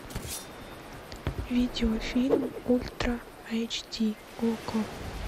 видеофильм ультра айч ди окко